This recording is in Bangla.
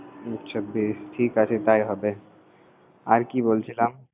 আচ্ছা বেশ ঠিক আছে তাই হবে আর কি বলছিলাম তাই হবে